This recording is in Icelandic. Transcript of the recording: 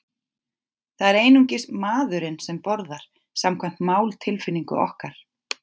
Það er einungis maðurinn sem borðar, samkvæmt máltilfinningu okkar.